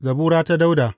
Zabura ta Dawuda.